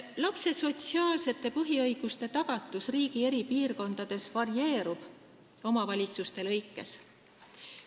Lapse sotsiaalsete põhiõiguste tagatus riigi eri piirkondades varieerub omavalitsuste kaupa.